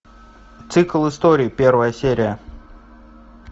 цикл историй первая серия